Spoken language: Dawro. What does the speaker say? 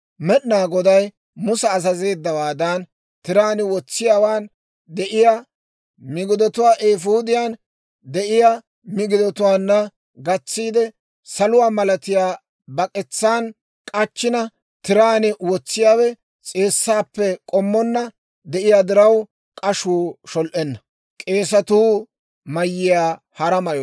Med'inaa Goday Musa azazeeddawaadan, tiraan wotsiyaawaan de'iyaa migidatuwaa eefuudiyaan de'iyaa migidatuwaanna gatsiide, saluwaa malatiyaa bak'etsaan k'achchina tiraan wotsiyaawe s'eessaappe k'ommonna de'iyaa diraw, k'ashuu shol"enna.